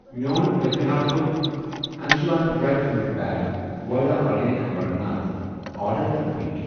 میٚون پٔتۍ مہِ ہفتُک انشون درٛے فرٛوٗٹ پیک وایلا آرگینِک امرناتھ آرڈر کر رِپیٖٹ۔